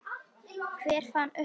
Hver fann uppá sykri?